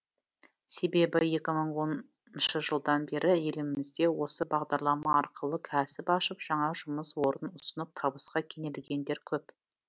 себебі екі мың оныншы жылдан бері елімізде осы бағдарлама арқылы кәсіп ашып жаңа жұмыс орнын ұсынып табысқа кенелгендер көп